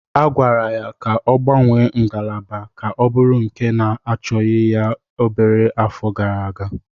A gwara ya ka ọ gbanwee ngalaba ka ọ bụrụ nke na-achọghị ya obere afọ gara aga.